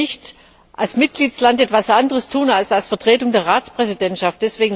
Sie können als Mitgliedstaat nicht etwas anderes tun als als Vertretung der Ratspräsidentschaft.